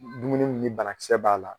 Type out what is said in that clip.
dumuni m ni bana kisɛ b'a la